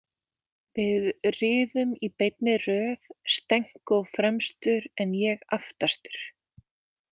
Við riðum í beinni röð, Stenko fremstur en ég aftastur.